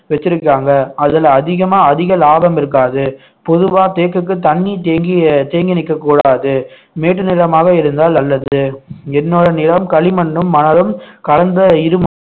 வச்சிருக்காங்க அதுல அதிகமா அதிக லாபம் இருக்காது பொதுவா தேக்குக்கு தண்ணி தேங்கி தேங்கி நிற்கக் கூடாது மேட்டு நிலமாக இருந்தால் அல்லது என்னோட நிலம் களிமண்ணும் மணலும் கலந்த இரு